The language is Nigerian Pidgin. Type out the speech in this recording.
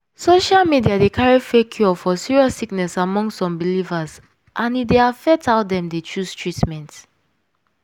social media dey carry fake cure for serious sickness among some believers and e dey affect how dem dey choose treatment.